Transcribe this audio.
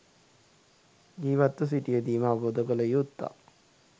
ජිවත්ව සිටියදීම අවබෝධ කල යුත්තක්.